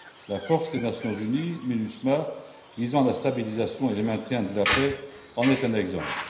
La force des Nations unies, la MINUSMA, visant la stabilisation et le maintien de la paix, en est un exemple.